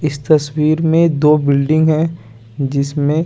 इस तस्वीर में दो बिल्डिंग है जिसमे--